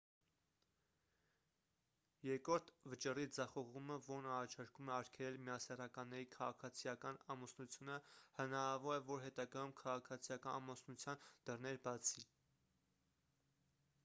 երկրորդ վճռի ձախողումը որն առաջարկում է արգելել միասեռականների քաղաքացիական ամուսնությունը հնարավոր է որ հետագայում քաղաքացիական ամուսնության դռներ բացի